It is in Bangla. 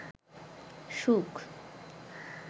সুখ